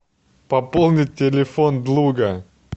пополнить телефон друга